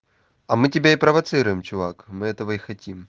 а мы тебя и провоцируем чувак мы этого и хотим